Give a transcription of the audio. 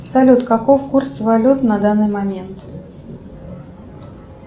салют каков курс валют на данный момент